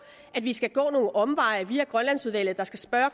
at vi skal gå nogle omveje via grønlandsudvalget der skal spørge